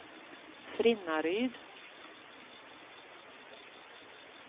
Frinnaryd